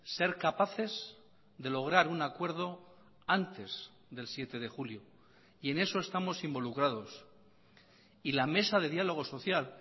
ser capaces de lograr un acuerdo antes del siete de julio y en eso estamos involucrados y la mesa de diálogo social